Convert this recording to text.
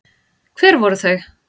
Hver voru þau?